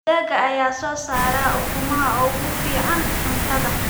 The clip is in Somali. Digaagga ayaa soo saara ukumaha ugu fiican cuntada.